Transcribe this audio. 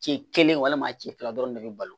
Ci kelen walima cɛ fila dɔrɔn de be balo